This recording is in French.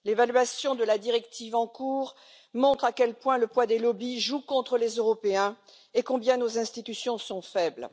L'évaluation de la directive en cours montre à quel point le poids des lobbies joue contre les Européens et combien nos institutions sont faibles.